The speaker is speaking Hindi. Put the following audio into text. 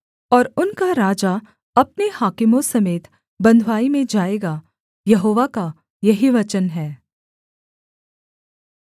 और उनका राजा अपने हाकिमों समेत बँधुआई में जाएगा यहोवा का यही वचन है